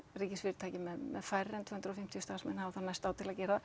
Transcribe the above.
ríkisfyrirtæki með færri en tvö hundruð og fimmtíu starfsmenn hafa þá næsta ár til að gera